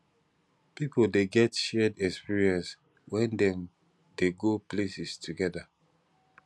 pipio de get shared exprience when dem de go places together